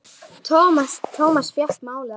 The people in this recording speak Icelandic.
Thomas fékk málið aftur.